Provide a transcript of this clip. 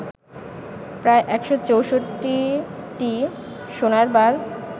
প্রায় ১৬৪টি সোনার বার